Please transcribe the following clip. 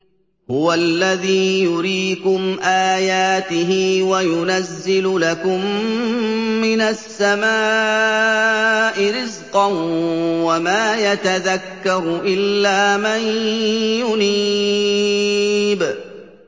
هُوَ الَّذِي يُرِيكُمْ آيَاتِهِ وَيُنَزِّلُ لَكُم مِّنَ السَّمَاءِ رِزْقًا ۚ وَمَا يَتَذَكَّرُ إِلَّا مَن يُنِيبُ